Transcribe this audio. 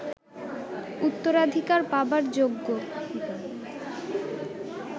উত্তরাধিকার পাবার যোগ্য